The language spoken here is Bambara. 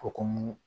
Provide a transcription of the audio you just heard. Hokumu